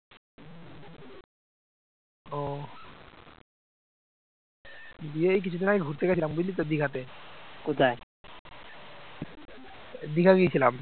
দীঘা গিয়েছিলাম